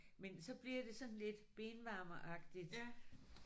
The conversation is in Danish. Men så bliver det sådan lidt benvarmeragtigt